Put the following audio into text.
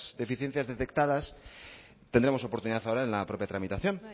deficiencias detectadas tendremos oportunidad ahora en la propia tramitación